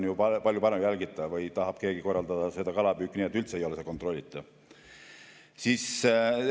Või tahab keegi korraldada kalapüüki nii, et see ei ole üldse kontrollitav?